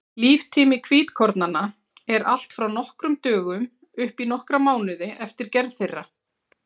Líftími hvítkornanna er allt frá nokkrum dögum upp í nokkra mánuði eftir gerð þeirra.